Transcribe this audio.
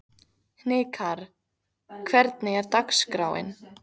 Hnikarr, hvernig er dagskráin?